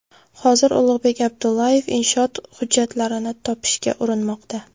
Hozir Ulug‘bek Abdullayev inshoot hujjatlarini topishga urinmoqda.